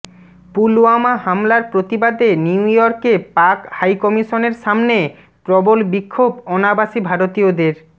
পুলওয়ামা হামলার প্রতিবাদে নিউ ইয়র্কে পাক হাইকমিশনের সামনে প্রবল বিক্ষোভ অনাবাসী ভারতীয়দের